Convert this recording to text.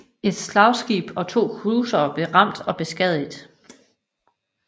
Et slagskib og to krydsere blev ramt og beskadiget